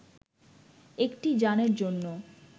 একটি যানের জন্য